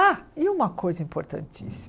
Ah, e uma coisa importantíssima.